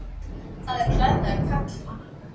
Það er klæðnaður karlmanna.